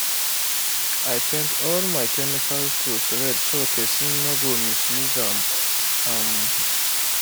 i paint all my chemical tools red so person no go misuse um am.